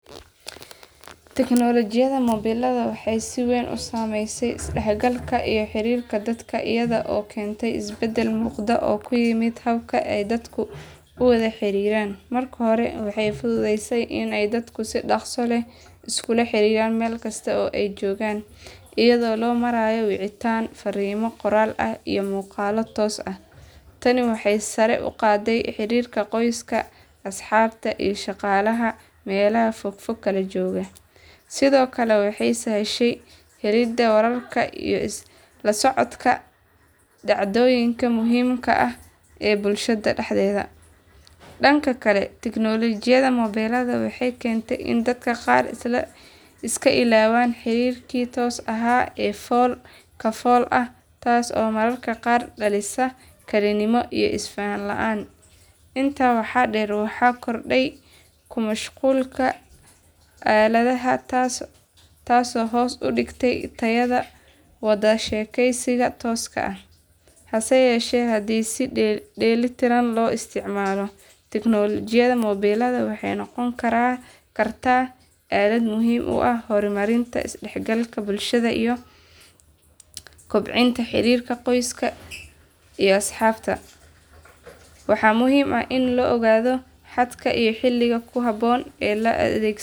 Teknolojiyada mobelada waxay sii weyn usameyse isdaxgalka iyo xirirka dadka iyado kente isbedel muqda oo kuyimid habka aay dadka uwada xariran, marka hore waxay fududeyse inay dadku sii daqsi leh iskula xiriran mel kista aay jogan iyado loo marayo wicitan farimo qoral ah iyo muqalo toos ah tani waxay hore uqate xarirka qoyska, asxabta iyo shaqalaha melaha fogfog kalajogaa sidiokale waxay sahshe helida wararka lasocdka dacdoyinka muhimka ah ee bulshada daxdeda, danka kale teknologiyada mobelada waxay kente in dad qar iska iloban xarirka sii tos ah ee fol ka fol ah tasi oo mararka qar dalisa kelinimo iyo ifahan laan inta waxa der waxa korde kumashqulka aledaha tasi oo hos udigtey tayada wadashekeysiga toska ah hasayeshe hadi sii deli tiran loo istacmalo teknologiyada mobelada waxay noqoni karan karta alad muhim uah hormarinta isdexgalka bulshada iyo kobcinta xarirka qoska iyo asxabta waxa muhim ah ini laa ogado xadka iyo xiliga kuhabon laa adegsado.